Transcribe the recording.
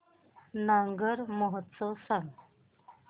नागौर महोत्सव सांग